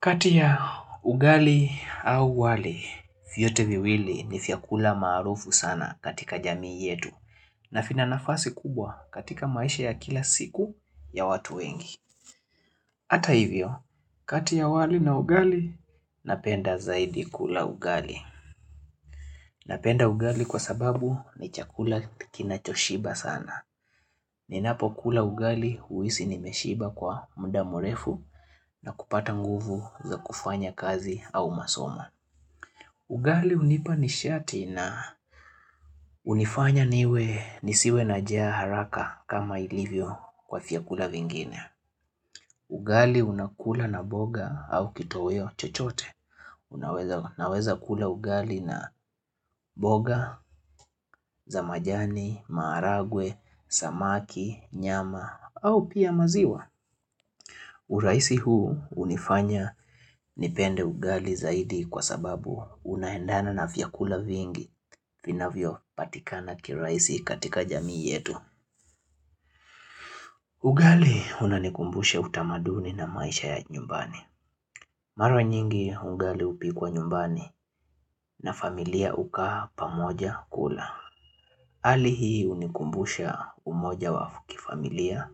Katia ugali au wali, vyote viwili ni vyakula maarufu sana katika jamii yetu na vina nafasi kubwa katika maisha ya kila siku ya watu wengi. Ata hivyo, kati ya wali na ugali, napenda zaidi kula ugali. Napenda ugali kwa sababu ni chakula kinachoshiba sana. Ninapo kula ugali huisi nimeshiba kwa muda mrefu na kupata nguvu za kufanya kazi au masomo. Ugali hunipa nishati na hunifanya niwe nisiwe najaa haraka kama ilivyo kwa vyakula vingine. Ugali unakula na boga au kitoweo chochote. Unaweza kula ugali na boga, za majani, maaragwe, samaki, nyama au pia maziwa. Urahisi huu hunifanya nipende ugali zaidi kwa sababu unaendana na vyakula vingi vinavyo patikana kiurahisi katika jamii yetu. Ugali unanikumbusha utamaduni na maisha ya nyumbani. Mara nyingi ugali hupikwa nyumbani na familia ukaa pamoja kula. Hli hii unikumbusha umoja wa kifamilia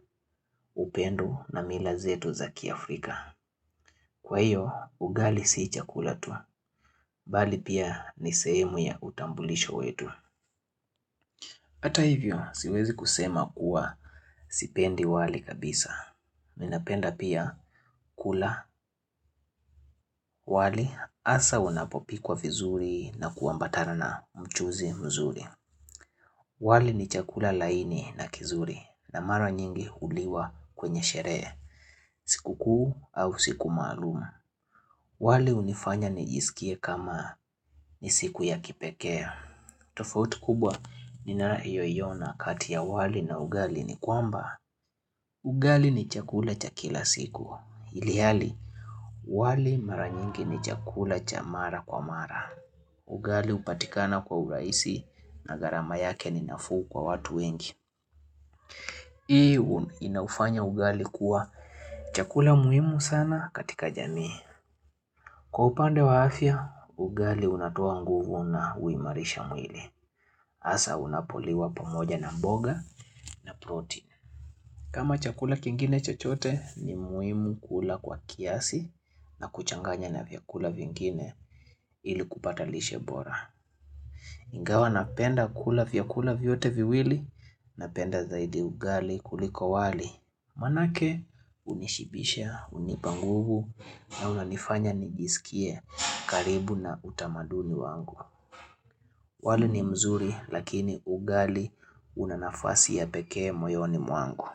upendo na mila zetu za kiafrika. Kwa hiyo, ugali sii chakula tu, bali pia ni sehemu ya utambulisho wetu. Hata hivyo, siwezi kusema kuwa sipendi wali kabisa. Mi napenda pia kula wali hasa unapopikwa vizuri na kuambatana na mchuzi mzuri. Wali ni chakula laini na kizuri na mara nyingi huliwa kwenye sherehe, siku kuu au siku maalumu. Wali hunifanya nijisikie kama ni siku ya kipeke tofauti kubwa ninayoiona kati ya wali na ugali ni kwamba Ugali ni chakula cha kila siku ilihali, wali mara nyingi ni chakula cha mara kwa mara Ugali hupatikana kwa urahisi na garama yake ni nafuu kwa watu wengi Hii inaufanya ugali kuwa chakula muhimu sana katika jamii Kwa upande wa afya, ugali unatoa nguvu na huimarisha mwili. Hasa unapoliwa pamoja na mboga na protein. Kama chakula kingine chochote, ni muhimu kula kwa kiasi na kuchanganya na vyakula vingine ili kupata lishe bora. Ingawa napenda kula vyakula vyote viwili, napenda zaidi ugali kuliko wali. Manake unishibisha, hunipa nguvu na unanifanya nijisikie karibu na utamaduni wangu wali ni mzuri lakini ugali unanafasi ya pekee moyoni mwangu.